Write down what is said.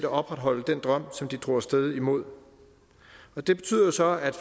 opretholde den drøm som de drog af sted mod og det betyder jo så at